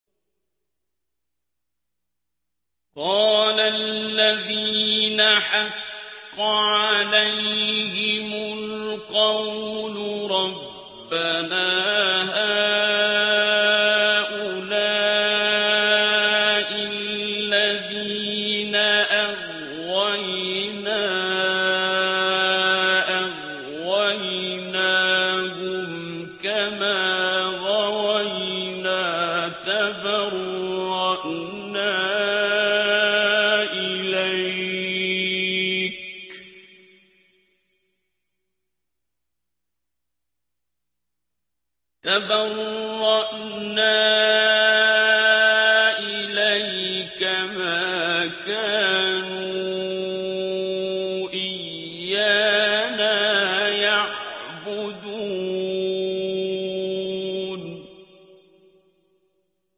قَالَ الَّذِينَ حَقَّ عَلَيْهِمُ الْقَوْلُ رَبَّنَا هَٰؤُلَاءِ الَّذِينَ أَغْوَيْنَا أَغْوَيْنَاهُمْ كَمَا غَوَيْنَا ۖ تَبَرَّأْنَا إِلَيْكَ ۖ مَا كَانُوا إِيَّانَا يَعْبُدُونَ